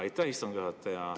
Aitäh, istungi juhataja!